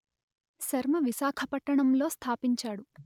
శర్మ విశాఖపట్టణం లో స్థాపించాడు